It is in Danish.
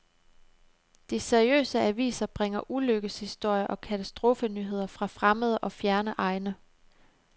De seriøse aviser bringer ulykkeshistorier og katastrofenyheder fra fremmede og fjerne egne.